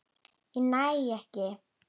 Ég næ ekki.